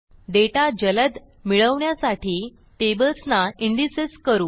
data जलद मिळवण्यासाठी टेबल्सना इंडेक्सेस करू